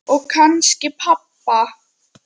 Og kannski pabba.